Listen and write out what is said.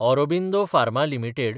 Aurobindo Pharma limited